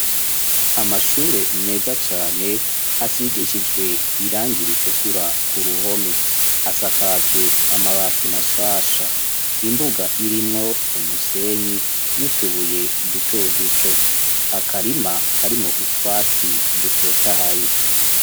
Amashure meza cane asigishijwe irangi ritukura ku ruhome asakajwe amabati mashasha imbuga irimwo umusenyi n'utubuye duto duto akarima karimu utwatsi dutotahaye.